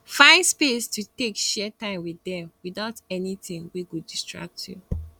find space to take share time wit dem witout anytin wey go distract yu